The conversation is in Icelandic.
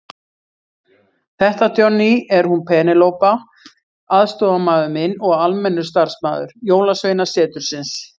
Þetta Johnny, er hún Penélope aðstoðarmaður minn og almennur starfsmaður Jólasveinasetursins.